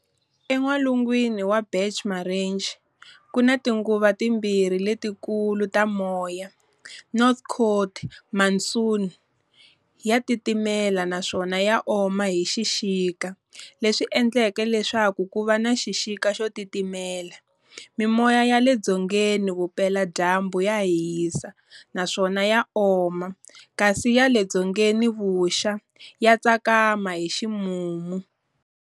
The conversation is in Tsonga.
En'walungwini wa Bach Marange, kuna tinguva timbirhi letikulu ta moya-North coast monsoon ya titimela naswona ya oma hi xixika, leswi endlaka leswaku kuva na xixika xo titimela, Mimoya yale dzongeni vupela dyambu ya hisa naswona ya oma kasi ya le dzongeni vuxa ya tsakama hi ximumu.